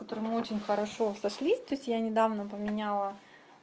с которым мы очень хорошо сошлись то есть я недавно поменяла